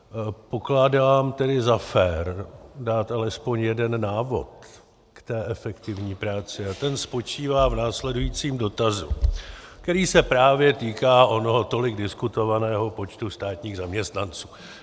Pokládám tedy za fér dát alespoň jeden návod k té efektivní práci a ten spočívá v následujícím dotazu, který se právě týká onoho tolik diskutovaného počtu státních zaměstnanců.